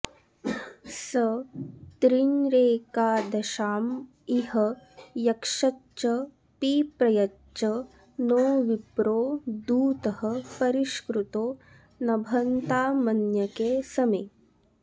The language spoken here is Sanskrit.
स त्रीँरेकादशाँ इह यक्षच्च पिप्रयच्च नो विप्रो दूतः परिष्कृतो नभन्तामन्यके समे